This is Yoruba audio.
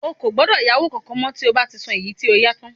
Ó gbọ́dọ̀ yáwó kankan mọ́ tí o bá ti san èyí tí o yá tán